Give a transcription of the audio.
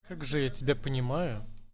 как же я тебя понимаю